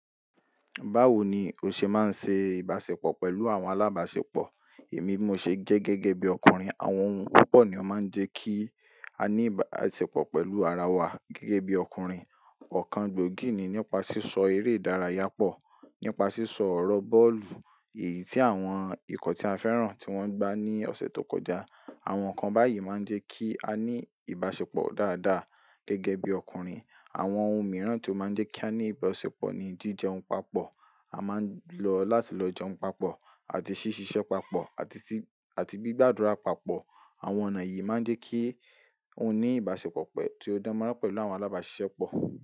Báwo ni o ṣe máa ń ṣe ìbáṣepọ̀ pẹ̀lú àwọn alábáṣepọ̀? Èmi, mo ṣe jẹ́ gẹ́gẹ́ bí ọkùnrin. Àwọn ohun púpọ̀ ni ó máa ń jẹ́ kí a ní ìbáṣepọ̀ pẹ̀lú ara wa gẹ́gẹ́ bí ọkùnrin. Ọ̀kan gbòógì ni nípa sísọ eré ìdárayá pọ̀, nípa sísọ ọ̀rọ̀ bọ́ọ̀lù èyí tí àwọn ikọ̀ tí a fẹ́ràn tí wọ́n gbá ní ọ̀sẹ̀ tó kọjá. Àwọn nǹkan báyìí máa ń jẹ́ kí a ní ìbáṣepọ̀ dáadáa gẹ́gẹ́ bí ọkùnrin. Àwọn ohun mìíràn tí ó máa ń jẹ́ kí a ní ìbáṣepọ̀ ni jíjẹun papọ̀. A máa ń lọ láti lọ jẹun papọ̀ àti ṣíṣiṣẹ́ papọ̀ àti tí ati gbigbàdúrà papọ̀. Àwọn ọ̀nà yìí máa ń jẹ́ kí ó ní ìbáṣepọ̀ pẹ̀ tí ó dánmoran pẹ̀lú àwọn alábáṣiṣẹ́ pọ̀.